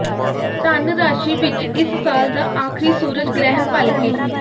ਧਨ ਰਾਸ਼ੀ ਵਿਚ ਇਸ ਸਾਲ ਦਾ ਆਖਰੀ ਸੂਰਜ ਗ੍ਰਹਿਣ ਭਲਕੇ